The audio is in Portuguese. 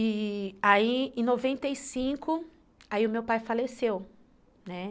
E aí, em noventa, aí o meu pai faleceu, né?